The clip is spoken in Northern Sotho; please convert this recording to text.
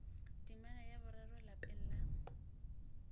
temana ya boraro lapeng la